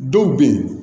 Dɔw bɛ yen